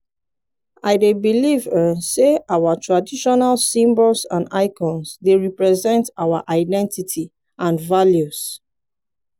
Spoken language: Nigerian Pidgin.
i dey believe um say our traditional symbols and icons dey represent our our identity and values.